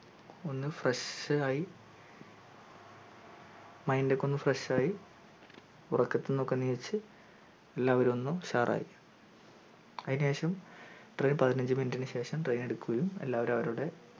ഒന്ന് fresh ആയി mind ഒക്കെ ഒന്ന് fresh ആയി ഉറക്കത്തിനൊക്കെ എണീച് എല്ലാവരും ഒന്ന് ഉഷാർ ആയി അതിന് ശേഷ train പതിനഞ്ചു minute ശേഷം train എടുക്കുകയും എല്ലാവരും അവരവരുടെ